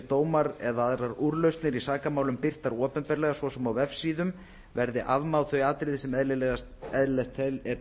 dómar eða aðrar úrlausnir í sakamálum birtar opinberlega svo sem á vefsíðum verði afmáð þau atriði sem eðlilegt er